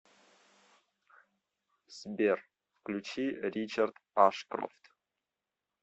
сбер включи ричард ашкрофт